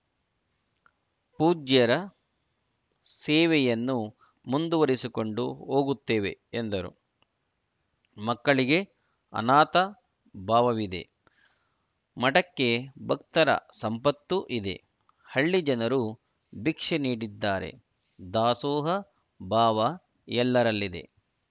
ಪೂಜ್ಯರ ಸೇವೆಯನ್ನು ಮುಂದುವರೆಸಿಕೊಂಡು ಹೋಗುತ್ತೇವೆ ಎಂದರು ಮಕ್ಕಳಿಗೆ ಅನಾಥಭಾವವಿದೆ ಮಠಕ್ಕೆ ಭಕ್ತರ ಸಂಪತ್ತು ಇದೆ ಹಳ್ಳಿ ಜನರು ಭಿಕ್ಷೆ ನೀಡಿದ್ದಾರೆ ದಾಸೋಹ ಭಾವ ಎಲ್ಲರಲ್ಲಿದೆ